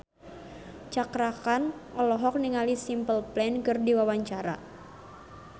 Cakra Khan olohok ningali Simple Plan keur diwawancara